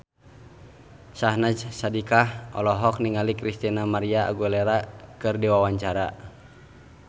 Syahnaz Sadiqah olohok ningali Christina María Aguilera keur diwawancara